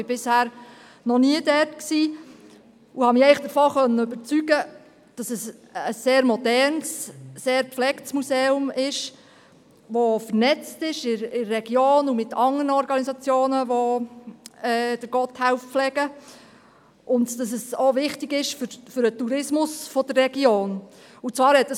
Ich war bisher noch nie dort und konnte mich davon überzeugen, dass es ein sehr modernes, sehr gepflegtes Museum ist, das in der Region und mit anderen Organisationen, die Gotthelf pflegen, vernetzt ist, und dass es auch für den Tourismus der Region wichtig ist.